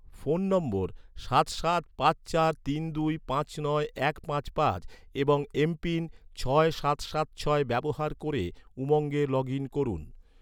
phone নম্বর সাত সাত পাঁচ চার তিন দুই পাঁচ নয় এক পাঁচ পাঁচ এবং এমপিন ছয় সাত সাত ছয় ব্যবহার ক’রে, উমঙ্গে লগ ইন করুন